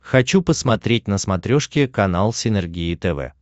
хочу посмотреть на смотрешке канал синергия тв